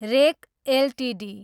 rake Ltd